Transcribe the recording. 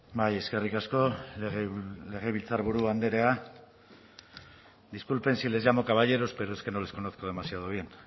bai eskerrik asko legebiltzarburu andrea disculpen si les llamo caballeros pero es que no les conozco demasiado bien